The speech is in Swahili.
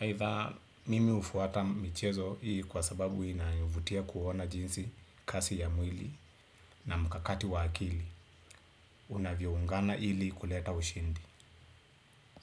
Aitha, mimi hufuata michezo kwa sababu inanivutia kuona jinsi kasi ya mwili na mkakati wa akili unavyoungana ili kuleta ushindi.